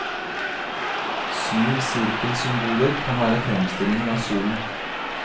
Syv sirkelsymboler kan være fremstillinger av solen.